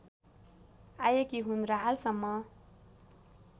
आएकी हुन र हालसम्म